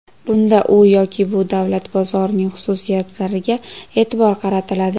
Bunda u yoki bu davlat bozorining xususiyatlariga e’tibor qaratiladi.